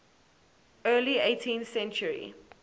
early eighteenth century